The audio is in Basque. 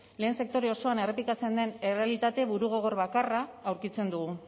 lehen sektore osoan errepikatzen den errealitate burugogor bakarra aurkitzen dugu